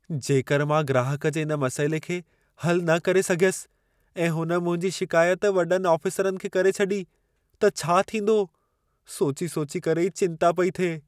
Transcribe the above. जेकरि मां ग्राहक जे इन मसइले खे हल न करे सघियसि ऐं हुन मुंहिंजी शिकायत वॾनि आफ़िसरनि खे करे छॾी त छा थींदो? सोची-सोची करे ई चिंता पेई थिए।